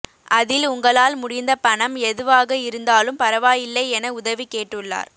அதில் உங்களால் முடிந்த பணம் எதுவாக இருந்தாலும் பரவாயில்லை என உதவி கேட்டுள்ளார்